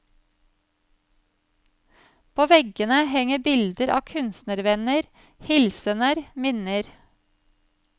På veggene henger bilder av kunstnervenner, hilsener, minner.